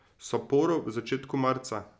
Saporo v začetku marca.